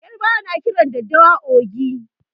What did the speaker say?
Yarbawa na kiran daddawa "ogi".